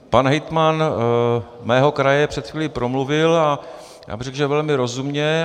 Pan hejtman mého kraje před chvílí promluvil a já bych řekl, že velmi rozumně.